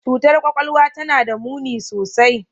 Cutar kwakwalwa tana da muni sosai.